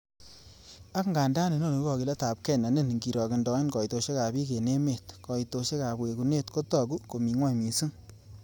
Angandan inoni ko kogiletab gee ne niin, ingirogendoen koitosiekab bik en emet, koitosiek ab wekunet kotogu ko mi gwony mising.